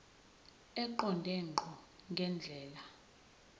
eqonde ngqo ngendlela